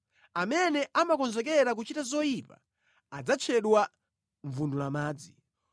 Amene amakonzekera kuchita zoyipa adzatchedwa mvundulamadzi.